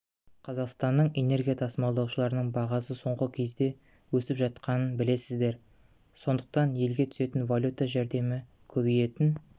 қазақстанның энергия тасымалдаушыларының бағасы соңғы кезде өсіп жатқанын білесіздер сондықтан елге түсетін валюта жәрдемі көбейетін